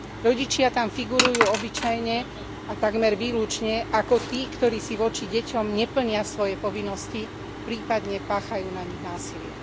Rodičia tam figurujú obyčajne a takmer výlučne ako tí, ktorí si voči deťom neplnia svoje povinnosti, prípadne páchajú na nich násilie.